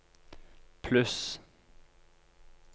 pluss